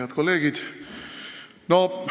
Head kolleegid!